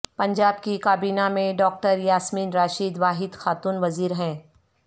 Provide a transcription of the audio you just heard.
پنجاب کی کابینہ میں ڈاکٹر یاسمین راشد واحد خاتون وزیر ہیں